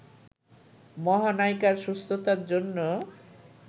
মহানায়িকার সুস্থতার জন্য